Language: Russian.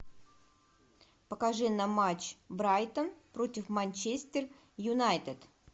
покажи нам матч брайтон против манчестер юнайтед